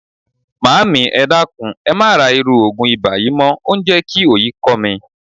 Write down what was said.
Maami, e dakun, e ma ra iru ogun iba yii mo. O n je ki oyi ko mi.